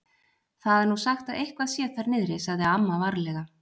Það er nú sagt að eitthvað sé þar niðri. sagði amma varlega.